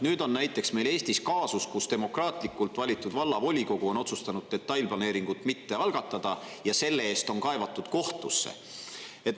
Nüüd on näiteks meil Eestis kaasus, kus demokraatlikult valitud vallavolikogu on otsustanud detailplaneeringut mitte algatada ja on selle eest kohtusse kaevatud.